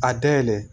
A dayɛlɛ